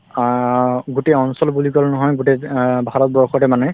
অ গোটেই অঞ্চল বুলি কলে নহয় গোটেই অ ভাৰতবৰ্ষতে মানে